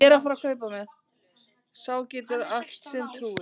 Sá getur allt sem trúir.